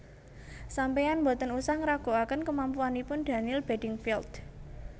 Sampean mboten usah ngraguaken kemampuanipun Daniel Beddingfield